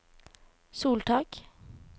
soltak